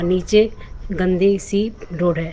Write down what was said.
पीछे गंदी सी रोड है।